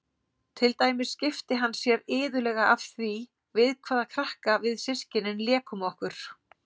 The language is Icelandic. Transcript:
Til dæmis skipti hann sér iðulega af því við hvaða krakka við systkinin lékum okkur.